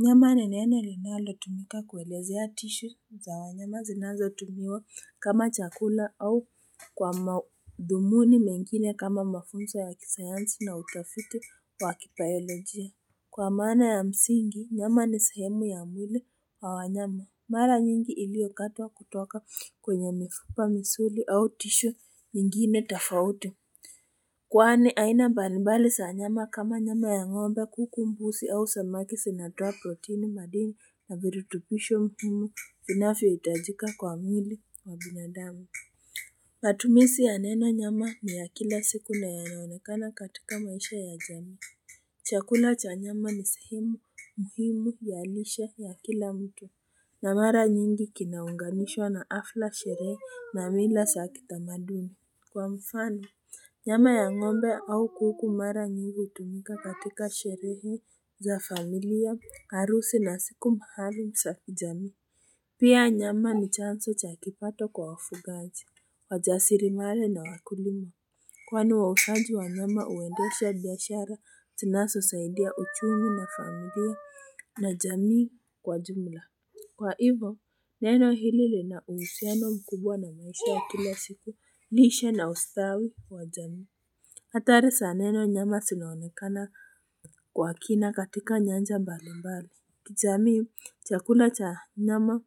Nyama ni neno linalo tumika kuelezea tisho za wanyama zinazo tumiwa kama chakula au kwa madhumuni mengine kama mafunzo ya kisayansi na utafiti wa kibayolojia Kwa maana ya msingi nyama ni sehemu ya mwili wa wanyama mara nyingi ili okatwa kutoka kwenye mifupa misuli au tisho nyingine tafauti Kwani aina mbali mbali sa nyama kama nyama ya ng'ombe kuku mbusi au samaki sinatoa proteini madini na virutubisho muhimu vinavyo itajika kwa mwili wa binadamu. Matumisi ya neno nyama ni ya kila siku na ya naonekana katika maisha ya jamii. Chakula cha nyama ni sehemu, muhimu ya lishe ya kila mtu. Na mara nyingi kinaungamishwa na afla sherehe na mila saa kita maduni. Kwa mfano, nyama ya ng'ombe au kuku mara nyingi utumika katika sherehe za familia, arusi na siku maalum za kijamii. Pia nyama ni chanzo cha kipato kwa wafugaji, wajasiri mari na wakulima. Kwani wa usanji wa nyama uendesha biashara zinazo saidia uchumi na familia na jamii kwa jumla. Kwa hivyo, neno hili lina uhusiano mkubwa na maisha ya kila siku, lishe na ustawi wa jamii. Hathari za neno nyama sinaonekana kwa kina katika nyanja mbali mbali. Jamii, chakula cha nyama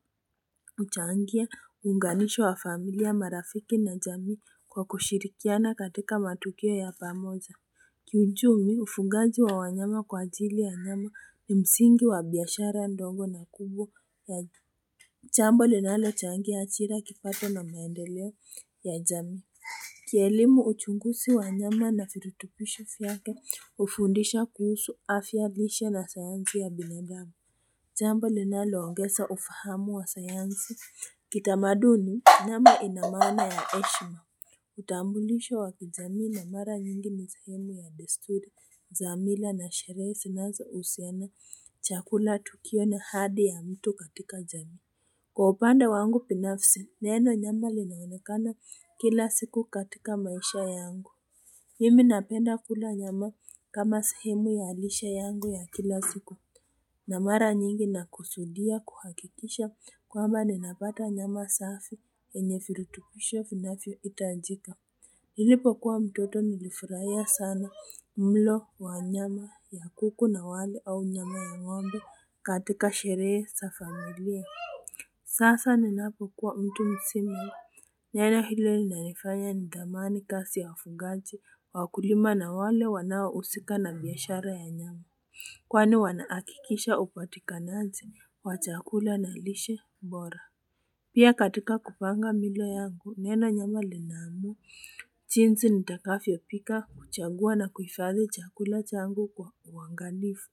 uchangia, uunganisho wa familia marafiki na jamii kwa kushirikiana katika matukio ya pamoja. Kiuchumi, ufugaji wa wanyama kwa ajili ya nyama ni msingi wa biashara ndogo na kubwa ya jamii. Jambo li nalo changia ajira kipato na maendeleo ya jamii ki elimu uchungusi wa nyama na virutubisho vyake ufundisha kuhusu afya lishe na sayansi ya binadamu jambo li naloongesa ufahamu wa sayansi kitamaduni nyama ina maana ya eshima utambulisho wakijamii na mara nyingi ni sehemu ya desturi za mila na sherehe zinazouhusiana chakula tukio na hadi ya mtu katika jamii Kwa upande wangu binafsi, neno nyama linaonekana kila siku katika maisha yangu. Mimi napenda kula nyama kama sehemu ya lishe yangu ya kila siku. Na mara nyingi na kusudia kuhakikisha kwamba ninapata nyama safi enye virutubisho vinavyo itajika. Nilipo kuwa mtoto nilifurahia sana mlo wa nyama ya kuku na wali au nyama ya ng'ombe katika sherehe za familia. Sasa ninapo kuwa mtu mzima. Neno hilo linanifanya ni thamani kazi ya wafunganji wakulima na wale wanaousika na biashara ya nyama. Kwani wanaakikisha upatikanaji wa chakula na lishe bora. Pia katika kupanga milo yangu neno nyama linamu. Jinsi nitakavyo pika kuchagua na kuifadhi chakula changu kwa uwangalifu.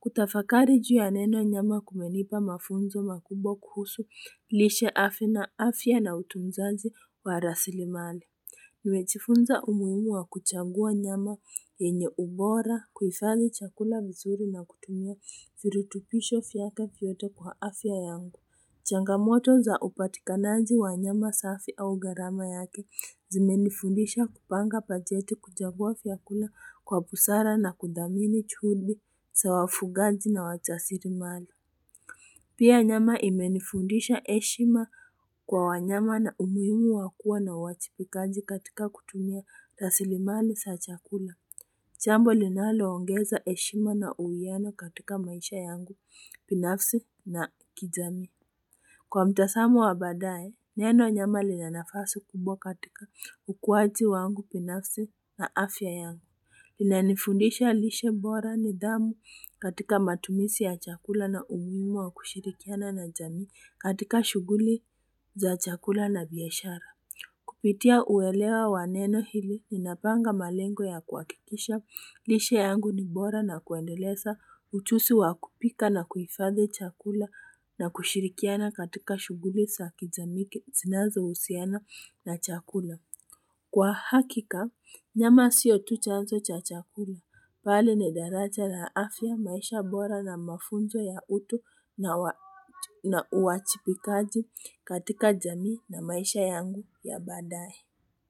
Kutafakari juu ya neno nyama kumenipa mafunzo makubwa kuhusu lishe afya na afya na utunzaji wa rasili mali Nimejifunza umuhimu wa kuchagua nyama yenye ubora kuifadhi chakula vizuri na kutumia virutubisho vyake vyote kwa afya yangu Changamoto za upatikanaji wa nyama safi au garama yake zimenifundisha kupanga bajeti kuchagua vyakula kwa busara na kudhamini juhudi za wafugaji na wajasiri mali. Pia nyama imenifundisha eshima kwa wanyama na umuimu wakuwa na uwajibikaji katika kutumia rasili mali za chakula. Jambo linalo ongeza eshima na uwiano katika maisha yangu, binafsi na kijamii. Kwa mtasamo wa baadae, neno nyama lina nafasi kubwa katika ukuaji wangu binafsi na afya yangu. Inanifundisha lishe bora ni dhamu katika matumizi ya chakula na umuimu wa kushirikiana na jamii katika shuguli za chakula na biashara. Kupitia uelewa waneno hili, ninapanga malengo ya kuakikisha, lishe yangu ni bora na kuendelesa, uchusi wakupika na kuifadhi chakula na kushirikiana katika shuguli sa kijamii, zinazo usiana na chakula. Kwa hakika, nyama sio tu chanzo cha chakula. Bali ni daraja ya afya maisha bora na mafunzo ya utu na uajibikaji katika jamii na maisha yangu ya baadae.